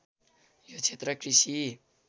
यो क्षेत्र कृषि